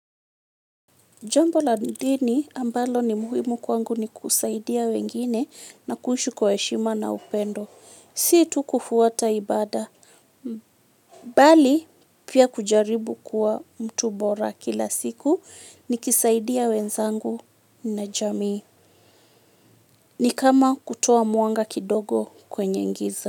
Jambo la dhini ambalo ni muhimu kwangu ni kusaidia wengine na kuishu kwa eshima na upendo. Si tu kufuata ibada. Bali pia kujaribu kuwa mtu bora kila siku ni kisaidia wenzangu na jamii. Ni kama kutoa muanga kidogo kwenye ngiza.